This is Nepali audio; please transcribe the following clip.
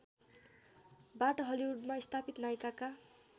बाट हलिउडमा स्थापित नायिकाका